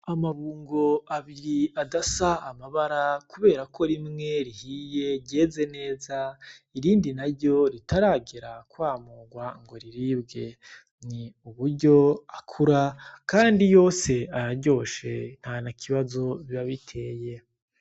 Amabungo abiri adasa amabara kubera ko rimwe rihiye ryeze neza irindi na ryo ritaragera kwamurwa ngo riribwe, ni uburyo akura, kandi yose araryoshe ntana kibazo bibabiteye.